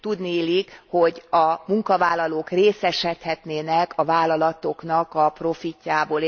Tudniillik, hogy a munkavállalók részesedhetnének a vállalatoknak a profitjából.